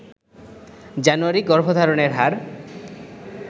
জানুয়ারি গর্ভধারণের হার